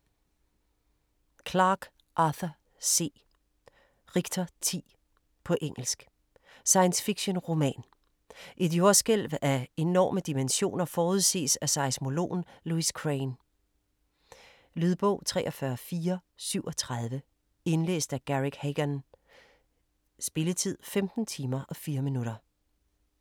Clarke, Arthur C.: Richter 10 På engelsk. Science fiction-roman. Et jordskælv af enorme dimensioner forudses af seismologen Lewis Crane. Lydbog 43437 Indlæst af Garrick Hagon. Spilletid: 15 timer, 4 minutter.